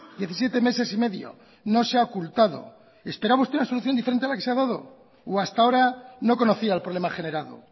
diecisiete meses y medio no se ha ocultado esperaba usted una solución diferente a la que se ha dado o hasta ahora no conocía el problema generado